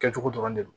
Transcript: Kɛcogo dɔrɔn de don